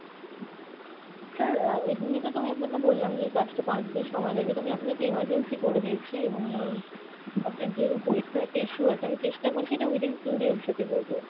sir আহ এমনিতে তো আমি আপনাকে বললাম যে এই কাজটা পাঁচদিন সময় লাগে তো আমি আপনাকে emergency করে দিয়েছি এবং আহ আপনার যেহেতু পরীক্ষার একটা issue আছে, অমি চেষ্টা করছি এটা within two days যাতে হয়ে যায়।